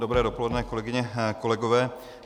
Dobré dopoledne, kolegyně, kolegové.